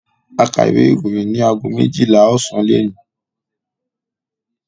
A kà ìwé-ìròyìn ní ago méjìlá ọ̀sán lónìí.